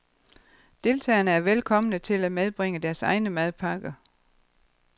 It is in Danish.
Deltagerne er velkomne til at medbringe deres egne madpakker.